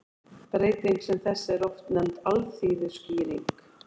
Breyting sem þessi er oft nefnd alþýðuskýring.